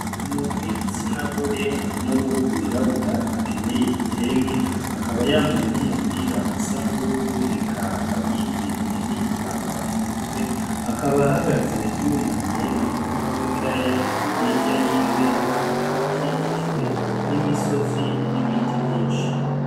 Umuntu w'igitsinagore nuruhu rw'irabura akenyeye igitenge akaba yambaye numupira usa nubururu eka akaba yitwikiriye nigitambara mumutwe akaba ahagaze yunamye mu murima wibiraya hirya yiwe akaba akikijwe n'imisozi nibiti vyinshi.